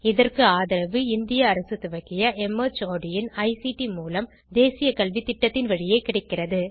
இதற்கு ஆதரவு இந்திய அரசு துவக்கிய மார்ட் இன் ஐசிடி மூலம் தேசிய கல்வித்திட்டத்தின் வழியே கிடைக்கிறது